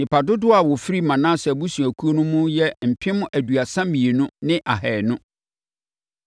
Nnipa dodoɔ a wɔfiri Manase abusuakuo no mu yɛ mpem aduasa mmienu ne ahanu (32,200).